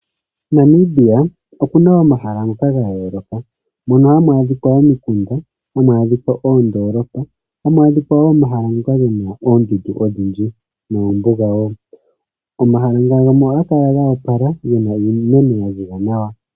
Namibia oku na omahala ngoka ga yooloka, mono hamu adhika omikunda, hamu adhika oondoolopa, hamu adhika wo omahala ngoka ge na oondundu odhindji noombuga wo. Omahala gamwe ngano ohaga kala go opala ge na iimeno ya ziza nawa.